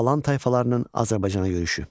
Alan tayfalarının Azərbaycana yürüşü.